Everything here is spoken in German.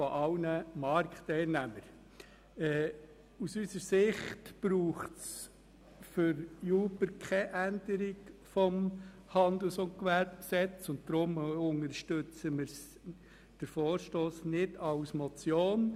Da aus unserer Sicht für Uber keine Änderung des Handels- und Gewerbegesetzes nötig ist, unterstützen wir den Vorstoss nicht als Motion.